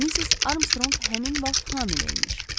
Missis Armstrong həmin vaxt hamilə imiş.